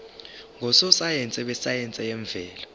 ngososayense besayense yemvelo